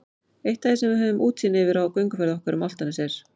Eitt af því sem við höfum útsýn yfir á gönguferð okkar um Álftanes er